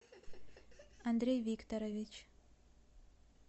андрей викторович